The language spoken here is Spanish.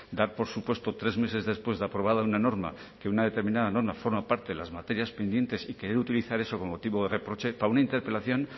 dar por supuesto tres meses después de aprobada una norma que una determinada forma parte de las materias pendientes y que debe utilizar eso como motivo de reproche para una interpelación